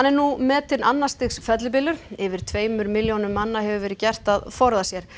nú metinn annars stigs fellibylur yfir tveimur milljónum manna hefur verið gert að forða sér